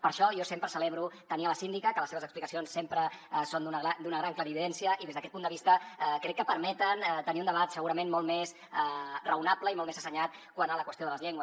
per això jo sempre celebro tenir la síndica que les seves explicacions sempre són d’una gran clarividència i des d’aquest punt de vista crec que permeten tenir un debat segurament molt més raonable i molt més assenyat quant a la qüestió de les llengües